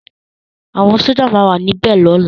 Awòn Sójá má wà ni bè lòlá